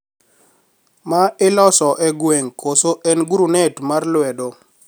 Ma iloso e gweng` koso en grunet mar lwedo